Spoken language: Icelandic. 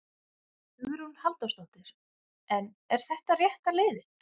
Hugrún Halldórsdóttir: En er þetta rétta leiðin?